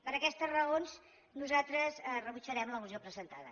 per aquestes raons nosaltres rebutjarem la moció presentada